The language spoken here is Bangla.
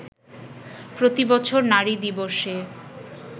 প্রতিবছর নারী দিবসে